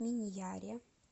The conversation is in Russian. миньяре